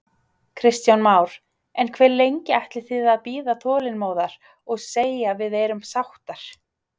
Kristján Már: En hve lengi ætlið þið að bíða þolinmóðar og segja við erum sáttar?